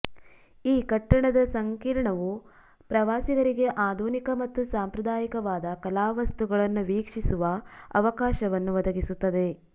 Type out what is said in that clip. ಈ ಕಟ್ಟಡದ ಸಂಕೀರ್ಣವು ಪ್ರವಾಸಿಗರಿಗೆ ಆದುನಿಕ ಮತ್ತು ಸಾಂಪ್ರದಾಯಿಕವಾದ ಕಲಾವಸ್ತುಗಳನ್ನು ವೀಕ್ಷಿಸುವ ಅವಕಾಶವನ್ನು ಒದಗಿಸುತ್ತದೆ